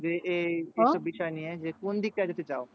যে এই এইসব বিষয় নিয়ে যে কোন টা যেতে চাও?